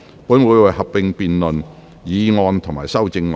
本會會合併辯論議案及修正案。